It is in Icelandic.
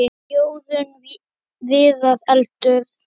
Jórunn Viðar: Eldur.